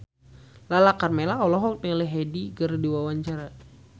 Lala Karmela olohok ningali Hyde keur diwawancara